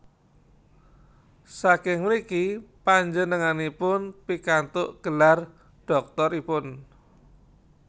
Saking mriki panjenenganipun pikantuk gelar dhoktoripun